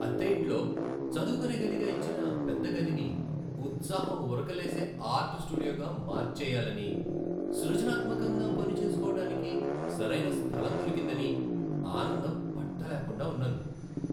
అద్దె ఇంట్లో చదువుకునే గదిగా ఇచ్చిన పెద్ద గదిని ఉత్సాహం ఉరకలేసే ఆర్ట్ స్టూడియోగా మార్చెయ్యాలని, సృజనాత్మకంగా పనిచేసుకోవటానికి సరైన స్థలం దొరికిందని ఆనందం పట్టలేకుండా ఉన్నాను.